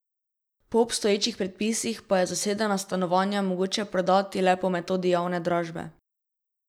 Po obstoječih predpisih pa je zasedena stanovanja mogoče prodati le po metodi javne dražbe.